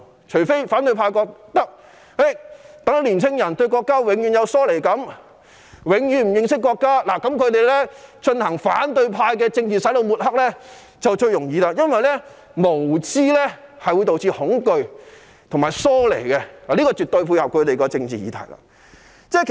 除非反對派認為讓年輕人永遠對國家有疏離感、永遠對國家不認識，這樣他們便輕易進行反對派的政治"洗腦"、抹黑，因為無知會導致恐懼和疏離，絕對配合到他們的政治議題。